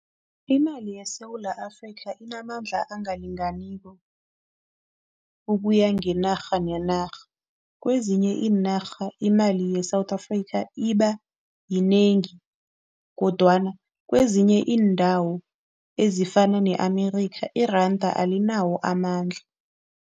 Imali yeSewula Afrika inamandla angalinganiko ukuya ngenarha nenarha. kwezinye iinarha imali ye-South Africa ibayinengi kodwana kwezinye iindawo ezifana ne-America iranda alinawo amandla.